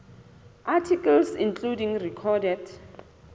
articles including recorded